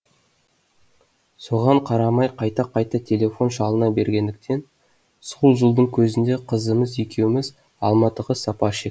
соған қарамай қайта қайта телефон шалына бергендіктен сол жылдың күзінде қызымыз екеуміз алматыға сапар шектік